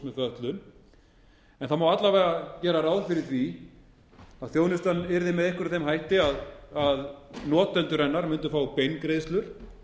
en það má alla vega gera ráð fyrir því að þjónustan yrði með einhverjum þeim hætti að notendur hennar mundu fá beingreiðslur